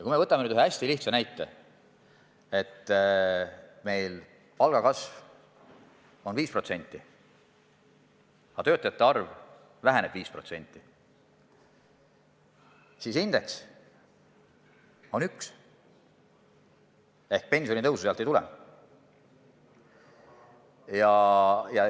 Võtame nüüd ühe hästi lihtsa näite: kui palgakasv on meil 5%, aga töötajate arv väheneb 5%, siis indeks on 1 ehk pensionitõusu ei tule.